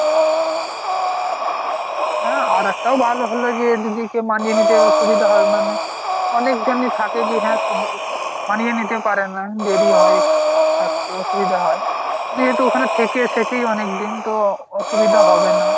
না একটা ও ভালো হল যে দিদির দিদিকে মানিয়ে নিতে সুবিধা হবে মানে অনেক জনই থাকে যে হ্যাঁ মানিয়ে নিতে পারে না দেরি হয় একটু থাকতে অসুবিধা হয় যেহেতু ওখানে থেকেই এসেছে অনেকদিন তো অসুবিধা হবে না।